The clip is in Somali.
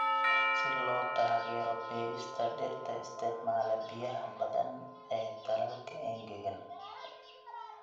Si loo taageero beerista dhirta isticmaala biyaha badan ee dalalka engegan.